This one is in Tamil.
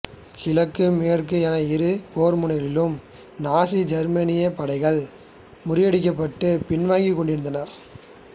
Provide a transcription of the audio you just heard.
கிழக்கு மேற்கு என இரு போர்முனைகளிலும் நாசி ஜெர்மனியின் படைகள் முறியடிக்கப்பட்டு பின்வாங்கிக் கொண்டிருந்தன